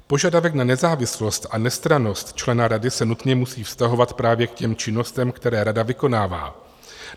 Požadavek na nezávislost a nestrannost člena rady se nutně musí vztahovat právě k těm činnostem, které rada vykonává.